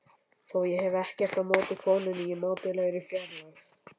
Þó hef ég ekkert á móti konunni í mátulegri fjarlægð.